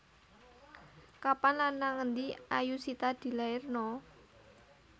Kapan lan nang endi Ayushita dilairno